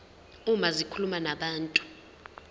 uma zikhuluma nabantu